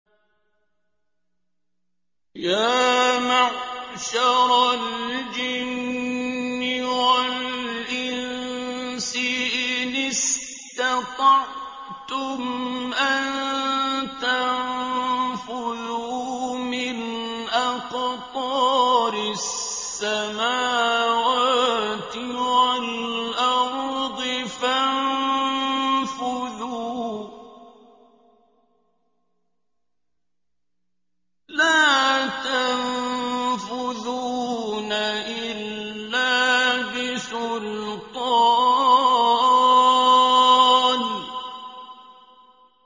يَا مَعْشَرَ الْجِنِّ وَالْإِنسِ إِنِ اسْتَطَعْتُمْ أَن تَنفُذُوا مِنْ أَقْطَارِ السَّمَاوَاتِ وَالْأَرْضِ فَانفُذُوا ۚ لَا تَنفُذُونَ إِلَّا بِسُلْطَانٍ